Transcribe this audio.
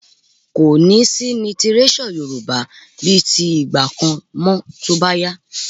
Kò ní sí lítíréṣọ̀ Yorùbá bíi ti ìgbà kan mọ́ tó bá yá